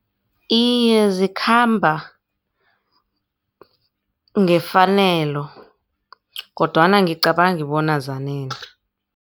Iye, zikhamba ngefanelo kodwana angicabangi bona zanele.